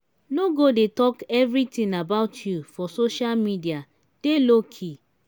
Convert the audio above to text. no go dey talk everything about you for social media dey low key.